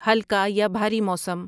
ہلکا یا بھاری موسم